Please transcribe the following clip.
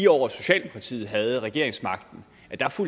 år socialdemokratiet havde regeringsmagten